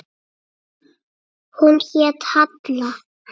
Hún hét Halla.